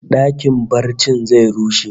Dakin barcin zai rushe